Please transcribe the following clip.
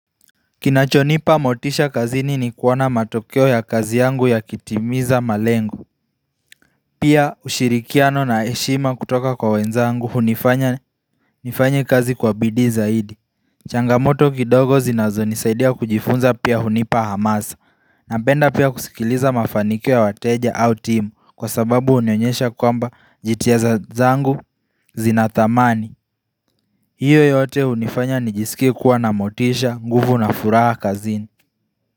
Kinachonipa motisha kazini ni kuwona matokeo ya kazi yangu yakitimiza malengo Pia ushirikiano na eshima kutoka kwa wenzangu hunifanya nifanye kazi kwa bidii zaidi changamoto kidogo zinazo nisaidia kujifunza pia hunipa hamasa na penda pia kusikiliza mafanikio wateja au timu kwa sababu unionyesha kwamba jitiaza zangu zinatamani hiyo yote hunifanya nijisikie kuwa na motisha nguvu na furaha kazini.